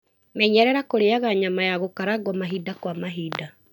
Menyerera kũrĩaga nyama ya gũkarangwo mahinda kwa mahinda.